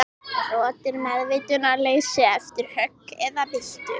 Rot er meðvitundarleysi eftir högg eða byltu.